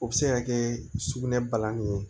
O bɛ se ka kɛ sugunɛ balani ye